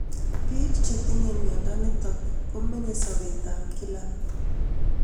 Pik che tinye mionitok ko menye sobet ab kila